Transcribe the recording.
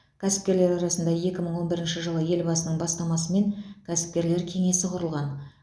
кәсіпкерлер арасында екі мың он бірінші жылы елбасының бастамасымен кәсіпкерлер кеңесі құрылған